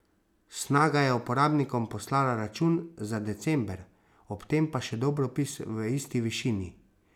Snaga je uporabnikom poslala račun za december, ob tem pa še dobropis v isti višini.